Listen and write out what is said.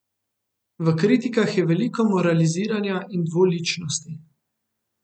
V kritikah je veliko moraliziranja in dvoličnosti.